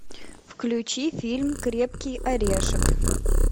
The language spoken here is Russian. включи фильм крепкий орешек